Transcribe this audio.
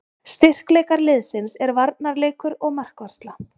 Styrkleikar liðsins er varnarleikur og markvarsla.